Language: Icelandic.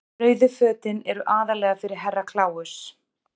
Rauðu fötin eru aðallega fyrir Herra Kláus.